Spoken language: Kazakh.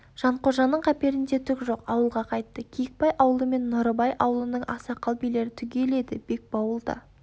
жанқожаның қаперінде түк жоқ ауылға қайтты киікбай аулы мен нұрыбай аулының ақсақал-билері түгел еді бекбауыл да